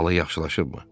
Hala yaxşılaşıbmı?